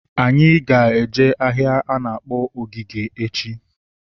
Anyị ga eje ahịa a na-akpọ Ogige echi